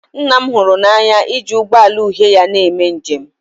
nna m hụrụ n'anya iji ụgbọ ala uhie ya na-eme njem